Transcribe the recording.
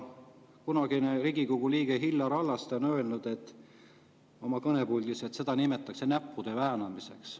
Kunagine Riigikogu liige Illar Hallaste ütles oma kõnes siit puldist, et seda nimetatakse näppude väänamiseks.